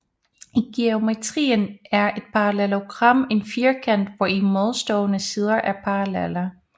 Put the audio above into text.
I geometrien er et parallelogram en firkant hvori modstående sider er parallelle